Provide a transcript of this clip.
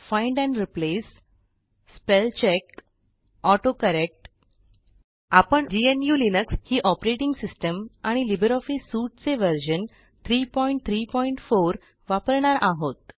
find and replace spellcheck autocorrect आपण GNU Linux ही operating system आणि लिब्रिऑफिस सूट चे व्हर्शन 334 वापरणार आहोत